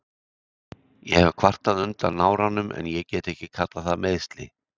Ég hef kvartað undan náranum en ég get ekki kallað það meiðsli.